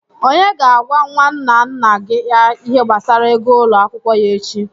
Onye ga-agwa nwanna nna ya ihe gbasara ego ụlọ akwụkwọ ya echi?